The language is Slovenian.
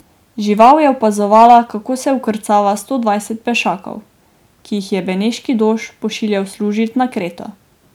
Žival je opazovala, kako se vkrcava sto dvajset pešakov, ki jih je beneški dož pošiljal služit na Kreto.